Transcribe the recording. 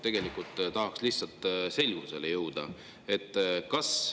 Tegelikult tahaks lihtsalt selgusele jõuda.